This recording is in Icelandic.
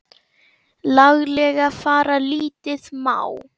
laglega fara lítið má.